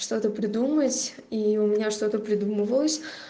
что-то придумать и у меня что-то придумывалось